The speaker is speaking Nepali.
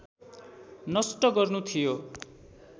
नष्ट गर्नु थियो